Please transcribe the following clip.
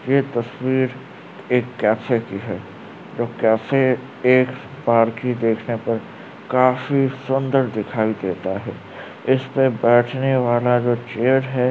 ये तस्वीर एक केफे की है। जो केफे एक पारखी देखने पर काफी सुन्दर दिखाई देता है। इसपे बेठने वाला जो चेयर है --